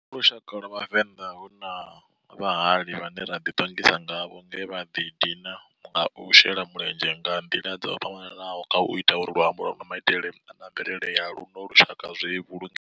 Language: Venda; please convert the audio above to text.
Kha lushaka lwa Vhavenda, hu na vhahali vhane ra di tongisa ngavho nge vha di dina nga u shela mulenzhe nga ndila dzo fhambananaho khau ita uri luambo, maitele na mvelele ya luno lushaka zwi vhulungee.